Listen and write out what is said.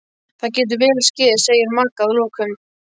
Það getur vel skeð, segir Magga að lokum.